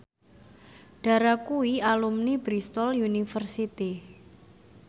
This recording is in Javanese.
Dara kuwi alumni Bristol university